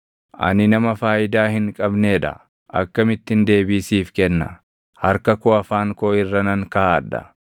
“Ani nama faayidaa hin qabnee dha; akkamittin deebii siif kenna? Harka koo afaan koo irra nan kaaʼadha.